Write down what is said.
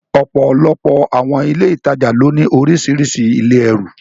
Ọ̀pọ̀lọpọ̀ àwọn ilé ìtajà ló ní orísìírísìí ilé ẹrù.